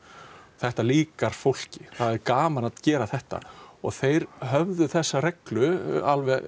þetta líkar fólki það er gaman að gera þetta og þeir höfðu þessa reglu alveg